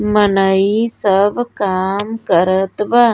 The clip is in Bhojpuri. मनई सब काम करत बा।